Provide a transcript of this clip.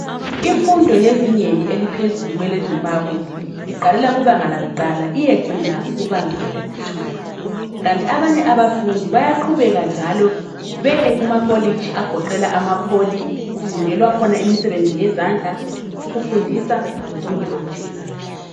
Imfundo yezingeni eliphezulu kweleZimbabwe iqalela kubanga lakuqala iyecina kubanga lesithupha, kanti abanye njalo bayaqhubeka beye kumakolitshi agoqela amaPoly kufundelwa khona imisebenzi yezandla, kufundisa lokunye okutshiyeneyo.